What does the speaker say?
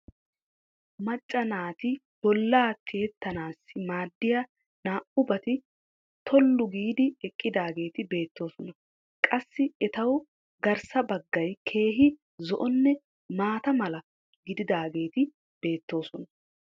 macca naati bollaa tiyettanaassi maadiya naa'ubati tollu giidi eqqidaageeti beettoosona. qassi etawu garssa baggaay keehi zo'onne maata mala gididaageeti beettoosona.